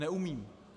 Neumím.